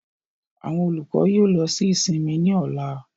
Àwọn olukọ yoo lọ si isinmi ni ọla.